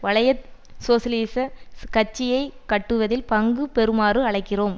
வலை சோசியலிசக் கட்சியை கட்டுவதில் பங்கு பெறுமாறு அழைக்கிறோம்